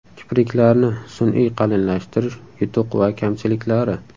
Kipriklarni sun’iy qalinlashtirish: yutuq va kamchiliklari.